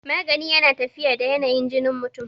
magani yana tafiya da yanayin jinin mutum